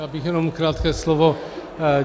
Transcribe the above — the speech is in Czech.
Já bych jenom krátké slovo.